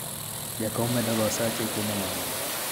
jakom medoga osache e keno mage